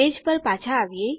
page પર પાછા આવીએ